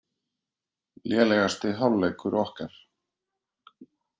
Lélegasti hálfleikur okkar